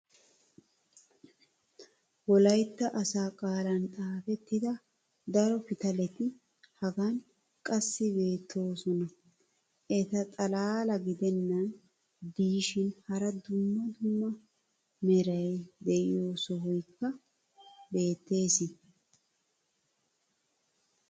wolaytta asaa qaalan xaafettida daro pitaletti hagan qassi beetoosona. eta xalaala gidennan diishshin hara dumma dumma meray diyo sohoykka beetees.